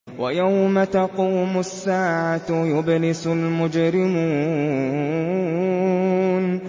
وَيَوْمَ تَقُومُ السَّاعَةُ يُبْلِسُ الْمُجْرِمُونَ